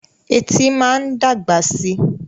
Etí máa ń dàgbà síi.